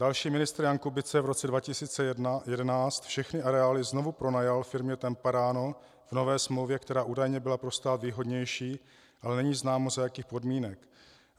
Další ministr, Jan Kubice, v roce 2011 všechny areály znovu pronajal firmě TEMPARANO v nové smlouvě, která údajně byla pro stát výhodnější, ale není známo, za jakých podmínek.